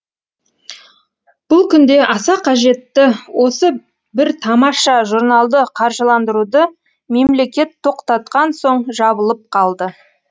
бұл күнде аса қажетті осы бір тамаша журналды қаржыландыруды мемлекет тоқтатқан соң жабылып қалды